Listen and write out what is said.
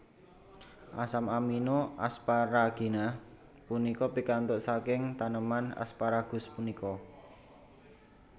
Asam amino asparagina punika pikantuk saking taneman asparagus punika